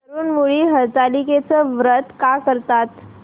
तरुण मुली हरतालिकेचं व्रत का करतात